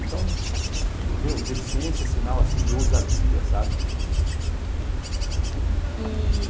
Então, meu, deficiência é sinal assim de ousadia, sabe?